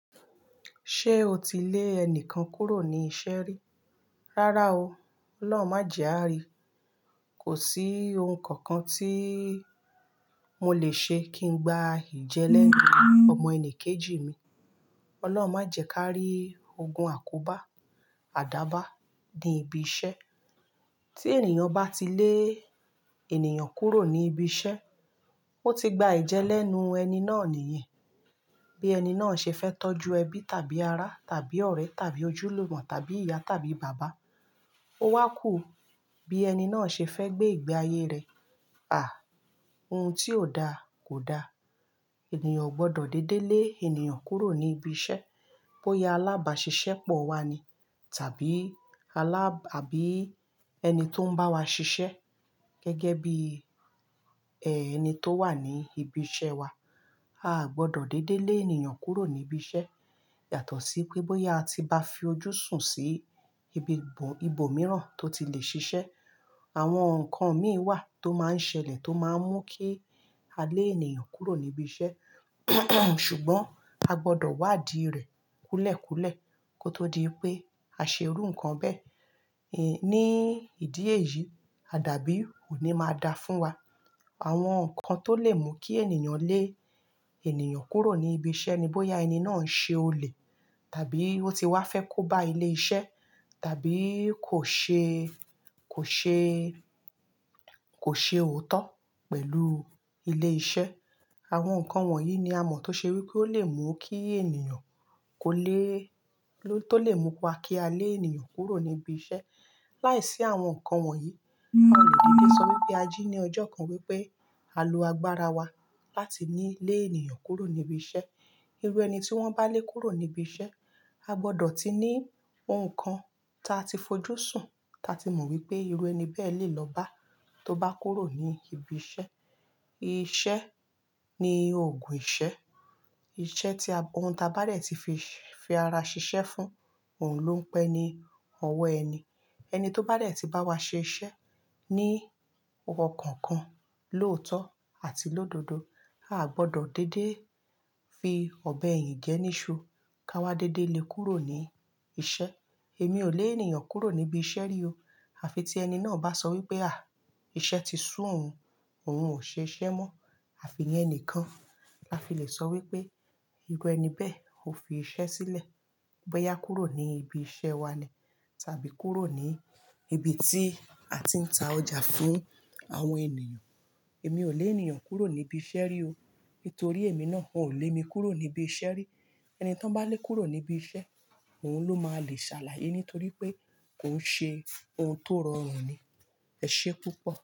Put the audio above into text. Ṣé o ti lé ẹni kan kúrò ní iṣẹ́ rí? Rárá o. Ọlọ́run má jẹ àrí. Kò sí oun kankan tí mo lè ṣe kí n gba ìjẹ́lẹ̀ ọmọ ènìyàn kejì mi. Ọlọ́run má jẹ ká rí ogun àkóbá, àdába ní ibi iṣẹ́. Tí ènìyàn bá ti lé ènìyàn kúrò ní ibi iṣẹ́, ó ti gba ìjẹ́lẹ̀ ẹ̀nù ẹni náà nìyẹn. Bí ẹni náà ṣe fẹ́ tọ́jú ẹbí tàbí ará tàbí ọ̀rẹ́ tàbí ojúlògbọ̀n tàbí ìyá tàbí bàbá. Ó wá kù bí ẹni náà ṣe fẹ́ gbé ìgbé ayé rẹ̀. À, oun tí ò da kò da. Ẹ̀níyàn ò gbọdọ̀ dédé lé ènìyàn kúrò ní ibi iṣẹ́. Bóyá alábàṣiṣẹ́ pọ̀ wá ni tàbí aláb-- àbí ẹni tó ń bá wa ṣiṣẹ́ gẹ́gẹ́ bí ẹni tó wà ní ibi iṣẹ́ wa. A ò gbọdọ̀ dédé lé ènìyàn kúrò ní ibi iṣẹ́. Yàtọ̀ sí pé bóyá a ti ba fi ojú sùn sí ibi ìbò mìíràn tó ti lè ṣiṣẹ́. Àwọn nǹkan míì wà tó máa ń ṣẹlẹ̀ tó máa ń mú kí a lé ènìyàn kúrò ní ibi iṣẹ́. Ṣùgbọ́n a gbọdọ̀ wádìí rẹ̀ kúlẹ̀ kúlẹ̀ kó tó di pé a ṣe irú nǹkan bẹ́ẹ̀. Ni ìdí èyí, àdá bí ò ní máa da fún wa. Àwọn nǹkan tó lè mú kí ènìyàn lé ènìyàn kúrò ní ibi iṣẹ́ ni bóyá ẹni náà ń ṣe olè tàbí ó ti wá fẹ́ kó bá ilé iṣẹ́ tàbí kò ṣe, kò ṣe, kò ṣe òótọ́ pẹ̀lú ilé iṣẹ́. Àwọn nǹkan wọ̀nyí ni a mọ̀ tó ṣe wí pé ó lè mú kí ènìyàn kó lé-- tó lè mú pa kí a lé ènìyàn kúrò ní ibi iṣẹ́. Láiṣí àwọn nǹkan wọ̀nyí, a lè dédé sọ wípé a jí ní ọjọ́ kan wípé à lo agbára wa láti ní lé ènìyàn kúrò ní ibi iṣẹ́. Irú ẹni tí wọ́n bá lé kúrò ní ibi iṣẹ́, a gbọdọ̀ ti ní oun kan ta ti fojú sùn, ta ti mọ̀ wípé irú ẹni bẹ́ẹ̀ lè lọ bá tó bá kúrò ní ibi iṣẹ́. Iṣẹ́ ní òògùn ìṣẹ́. Iṣẹ́ tí a-- ohun ta bá rẹ̀ ti fi, fi ara ṣiṣẹ́ fún òun ló ń pẹ́ ni ọwọ́ ẹni. Ẹni tó bá rẹ̀ ti bá wa ṣe iṣẹ́ ní ọwọ́ kankan lótọ́ àti lódodo, a gbọdọ̀ dédé fi ọ̀bẹ ìyín gẹ níṣu ká wa dédé lé kúrò ní iṣẹ́. Èmi ò lé ènìyàn kúrò níbi iṣẹ́ rí o. Àfi tí ẹni náà bá sọ wípé à, iṣẹ́ ti sú òun, òun ò ṣe iṣẹ́ mọ́. Àfi iye ẹni kan la fi lè sọ wípé irú ẹni bẹ́ẹ̀ ò fi iṣẹ́ sílẹ̀. Bóyá kúrò ní ibi iṣẹ́ wa lẹ̀ tàbí kúrò ní ibi tí a ti ń ta ọjà fún àwọn ènìyàn. Èmi ò lé ènìyàn kúrò níbi iṣẹ́ rí o. Nítorí èmi náà ò lé mi kúrò níbi iṣẹ́ rí. Ẹni tí wọ́n bá lé kúrò níbi iṣẹ́, òun ló máa le ṣàlàyé nítorí pé kò ń ṣe oun tó rọrùn ni. Ẹ̀ṣé púpọ̀.